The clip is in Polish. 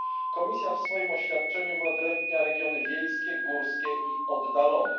Komisja w swoim oświadczeniu wyodrębnia regiony wiejskie, górskie i oddalone.